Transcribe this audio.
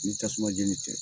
Ni tasuma jeni tɛ